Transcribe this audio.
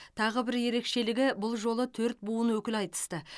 тағы бір ерекшелігі бұл жолы төрт буын өкілі айтысты